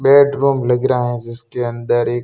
bedroom लग रहा है जिसके अंदर एक--